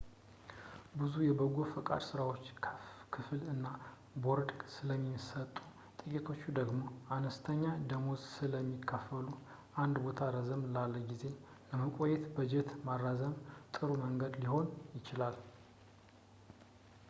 ብዙ የበጎ ፈቃድ ሥራዎች ክፍል እና ቦርድ ስለሚሰጡ ጥቂቶች ደግሞ አነስተኛ ደመወዝ ስለሚከፍሉ አንድ ቦታ ረዘም ላለ ጊዜ ለመቆየት በጀት ማራዘም ጥሩ መንገድ ሊሆን ይችላል